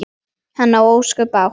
Hann á ósköp bágt.